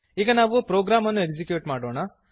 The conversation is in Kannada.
ಈಗ ನಾವು ಪ್ರೊಗ್ರಾಮನ್ನು ಎಕ್ಸಿಕ್ಯೂಟ್ ಮಾಡೋಣ